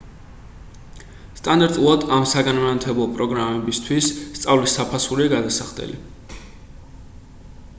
სტანდარტულად ამ საგანმანათლებლო პროგრამებითვის სწავლის საფასურია გადასახდელი